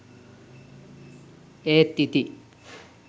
ඒත් ඉතිං